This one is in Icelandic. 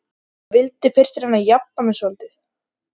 Nauðugur geng ég til þessa leiks, svaraði Marteinn.